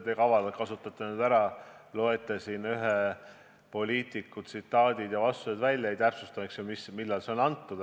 Nojah, te kasutate nüüd siin ühe poliitiku tsitaate kavalalt ära, loete vastused ette, aga ei täpsusta, millal need on antud.